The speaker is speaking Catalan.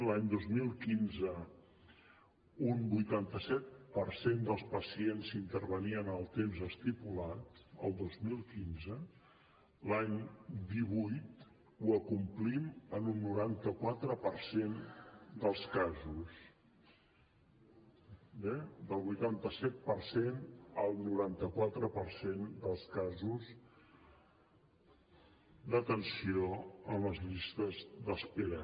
l’any dos mil quinze un vuitanta set per cent dels pacients s’intervenien en el temps estipulat el dos mil quinze l’any divuit ho acomplim en un noranta quatre per cent dels casos eh del vuitanta set per cent al noranta quatre per cent dels casos d’atenció en les llistes d’espera